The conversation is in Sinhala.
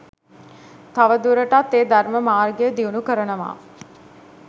තවදුරටත් ඒ ධර්ම මාර්ගය දියුණු කරනව.